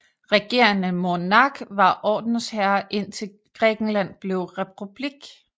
Regerende monark var ordensherre indtil Grækenland blev republik